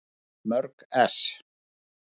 Mörg ess.